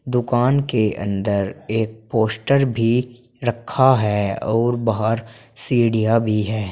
दुकान के अंदर एक पोस्टर भी रखा है और बाहर सीढ़ियां भी है।